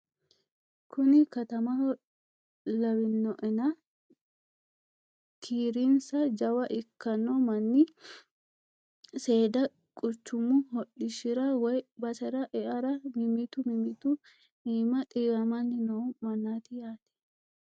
Kunni katamaho lawinoena kiirinissa jawwa ikkanno manni seeda quchumu hodhishshirra woyi baasera e'arra mimittu mimittu ima xiiwamanni noo mannati yaate